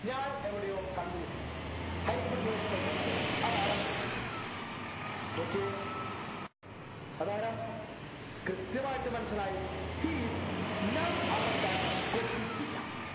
ഞാൻ എവിടെയോ കണ്ടുമുട്ടിട്ടുണ്ട് hypotenuse by opposite അതാരാ നോക്കിയേ അതാരാ കൃത്യമായിട്ട് മനസിലായി he is none other than cosec theta